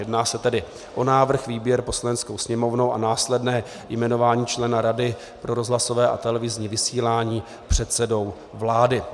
Jedná se tedy o návrh, výběr, Poslaneckou sněmovnou a následné jmenování člena Rady pro rozhlasové a televizní vysílání předsedou vlády.